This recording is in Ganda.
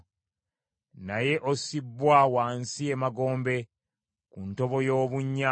Naye ossibbwa wansi emagombe, ku ntobo y’obunnya.